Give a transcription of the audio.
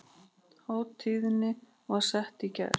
Hátíðin var sett í gær